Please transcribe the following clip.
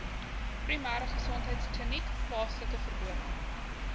primêregesondheidkliniek plaaslike verdowing